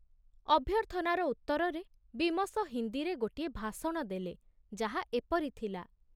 ଅଭ୍ୟର୍ଥନାର ଉତ୍ତରରେ ବୀମସ ହିନ୍ଦୀରେ ଗୋଟିଏ ଭାଷଣ ଦେଲେ, ଯାହା ଏପରି ଥିଲା